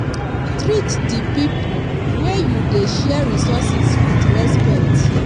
treat di pipo wey you dey share resources with respect